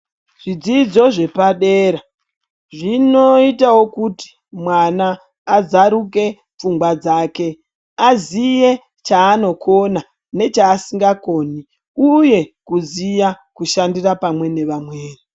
Zvidzidzo zvepadera zvinoitawo kuti mwana azaruke pfungwa dzake, aziye chaanokona nechaasingakoni uye kuziya kushandira pamwe nevamweni.